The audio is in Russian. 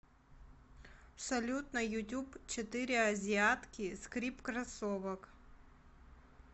салют на ютуб четыре азиатки скрип кроссовок